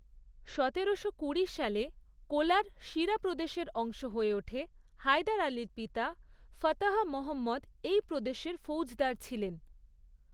সতেরোশো কুড়ি সালে, কোলার সিরা প্রদেশের অংশ হয়ে ওঠে, হায়দার আলীর পিতা, ফাতাহ মহম্মদ এই প্রদেশের ফৌজদার ছিলেন।